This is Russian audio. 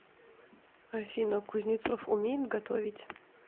афина кузнецов умеет готовить